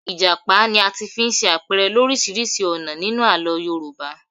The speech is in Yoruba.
Ìjàpá ni a ti fi ṣe àpẹrẹ lọ́ríṣiríṣi ọ̀nà nínú Àlọ́ Yorùbá.